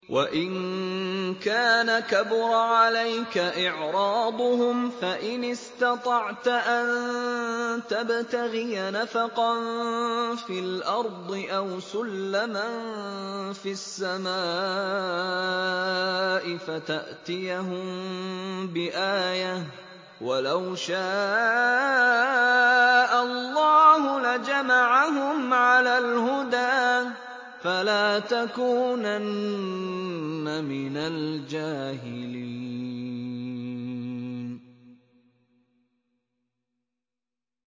وَإِن كَانَ كَبُرَ عَلَيْكَ إِعْرَاضُهُمْ فَإِنِ اسْتَطَعْتَ أَن تَبْتَغِيَ نَفَقًا فِي الْأَرْضِ أَوْ سُلَّمًا فِي السَّمَاءِ فَتَأْتِيَهُم بِآيَةٍ ۚ وَلَوْ شَاءَ اللَّهُ لَجَمَعَهُمْ عَلَى الْهُدَىٰ ۚ فَلَا تَكُونَنَّ مِنَ الْجَاهِلِينَ